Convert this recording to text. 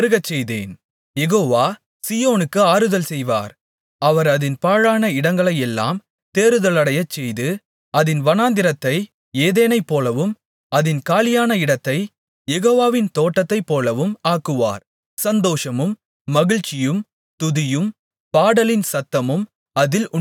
யெகோவா சீயோனுக்கு ஆறுதல் செய்வார் அவர் அதின் பாழான இடங்களையெல்லாம் தேறுதலடையச்செய்து அதின் வனாந்திரத்தை ஏதேனைப்போலவும் அதின் காலியான இடத்தைக் யெகோவாவின் தோட்டத்தைப்போலவும் ஆக்குவார் சந்தோஷமும் மகிழ்ச்சியும் துதியும் பாடலின் சத்தமும் அதில் உண்டாயிருக்கும்